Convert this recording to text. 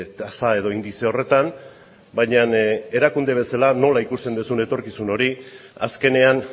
tasa edo indize horretan baina erakunde bezala nola ikusten duzun etorkizun hori azkenean